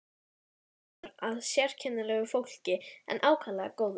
Dálítið var þar af sérkennilegu fólki en ákaflega góðu.